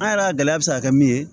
An yɛrɛ ka gɛlɛya bɛ se ka kɛ min ye